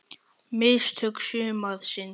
Mistök sumarsins?